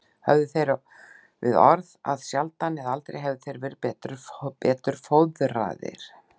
Höfðu þeir við orð að sjaldan eða aldrei hefðu þeir verið betur fóðraðir.